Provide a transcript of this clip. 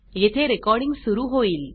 येथे रेकॉर्डिंग सुरू होईल